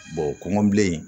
kɔngɔ bilen